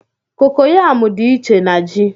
kokoyamú dị iche na ji